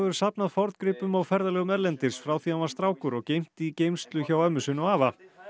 safnað forngripum á ferðalögum erlendis frá því hann var strákur og geymt í geymslu hjá ömmu sinni og afa